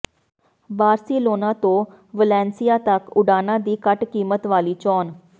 Barcelona ਤੋਂ Valencia ਤੱਕ ਉਡਾਣਾਂ ਦੀ ਘੱਟ ਕੀਮਤ ਵਾਲੀ ਚੋਣ